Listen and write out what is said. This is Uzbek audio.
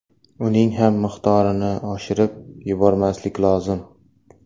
Uning ham miqdorini oshirib yubormaslik lozim.